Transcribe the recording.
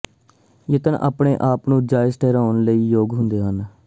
ਯਤਨ ਆਪਣੇ ਆਪ ਨੂੰ ਜਾਇਜ਼ ਠਹਿਰਾਉਣ ਲਈ ਯੋਗ ਹੁੰਦੇ ਹਨ